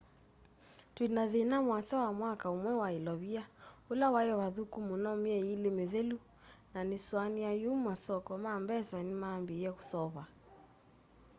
twina thina muasa wa mwaka umwe wa ilovia ula wai vathuku muno myei ili mithelu na nisuania yu masoko ma mbesa nimambiie kuseuva